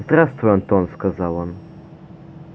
здравствуй антон сказал он